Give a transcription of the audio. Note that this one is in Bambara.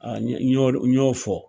Aa n y'o fɔ.